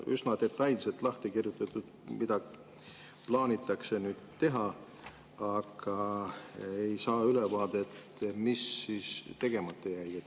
Üsna detailselt on lahti kirjutatud, mida plaanitakse teha, aga ei saa ülevaadet, mis tegemata jäi.